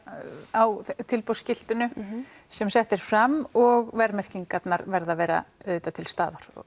á tilboðsskiltinu sem sett er fram og verðmerkingarnar verða að vera auðvitað til staðar